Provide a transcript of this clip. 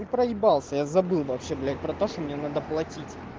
проебался я забыл вообще блять про то что мне надо платить